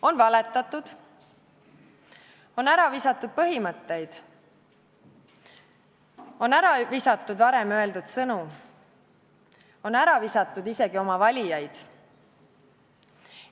On valetatud, on ära visatud põhimõtteid, on ära visatud varem öeldud sõnu, on ära visatud isegi oma valijaid.